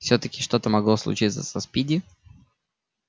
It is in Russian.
всё-таки что могло случиться со спиди